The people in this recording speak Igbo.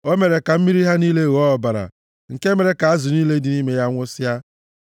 O mere ka mmiri ha niile ghọọ ọbara, nke mere ka azụ niile dị nʼime ya nwụsịa.